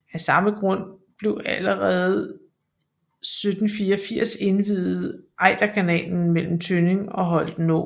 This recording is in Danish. Af samme grund blev allerede 1784 indviet Ejderkanalen mellem Tønning og Holtenå